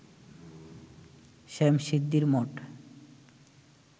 শ্যামশিদ্ধির মঠ